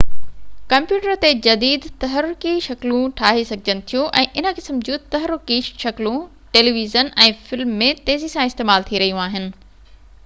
computer تي جديد تحرڪي شڪلون ٺاهي سگهجن ٿيون ۽ ان قسم جون تحرڪي شڪلون ٽيلي ويزن ۽ فلمن ۾ تيزي سان استعمال ٿي رهيون آهن